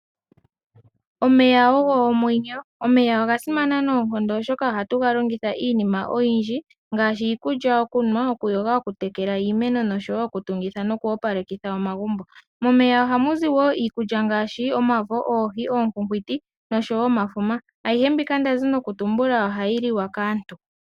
Omeya ogo omwenyo omeya ogasimana noonkondo oshoka ohatu galongitha iinima oyindji ngaashi iikulya, okunwa okuyoga, okutekela, iimeno noshowo okutungitha nookopalekitha omagumbo momeya ohamu ziwo iikulya ngaashi omavo ookwikwiti oohi nomafuka ayihe mbino ndazi nokutumbula ohayi liwa kaantu.